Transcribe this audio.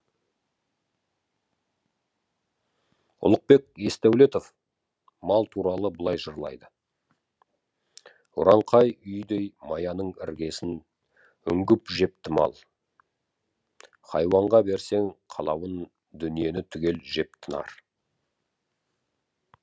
ұлықбек есдәулетов мал туралы былай жырлайды ұранқай үйдей маяның іргесін үңгіп жепті мал хайуанға берсең қалауын дүниені түгел жеп тынар